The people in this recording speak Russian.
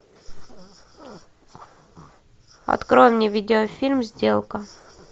открой мне видеофильм сделка